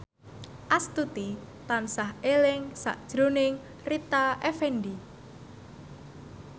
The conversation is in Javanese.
Astuti tansah eling sakjroning Rita Effendy